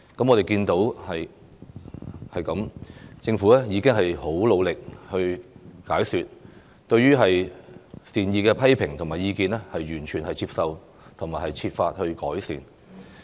我們看到政府很努力地進行解說，完全接受善意的批評和意見，並且設法改善。